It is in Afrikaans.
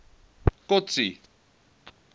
kotsi